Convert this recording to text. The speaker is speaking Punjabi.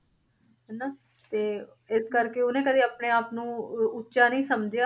ਹਨਾ ਤੇ ਇਸ ਕਰਕੇ ਉਹਨੇ ਕਦੇ ਆਪਣੇ ਆਪ ਨੂੰ ਉ~ ਉੱਚਾ ਨੀ ਸਮਝਿਆ।